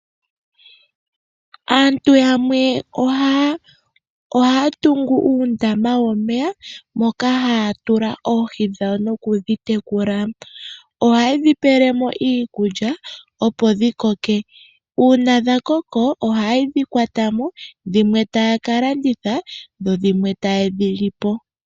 Aantu yamwe ohaya tungu uundama womeya moka haya tula oohi dhawo noku dhi tekula. Oha ye dhi pele mo iikulya opo dhi koke. Uuna dha koko oha ye dhi kwata mo dhimwe taya ka landitha dho dhimwe taye dhi li po.